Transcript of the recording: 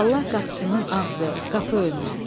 Allah qapısının ağzı, qapı önü.